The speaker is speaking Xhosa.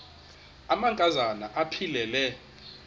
amanka zana aphilele